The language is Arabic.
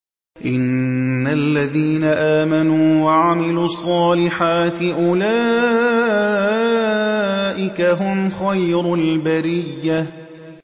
إِنَّ الَّذِينَ آمَنُوا وَعَمِلُوا الصَّالِحَاتِ أُولَٰئِكَ هُمْ خَيْرُ الْبَرِيَّةِ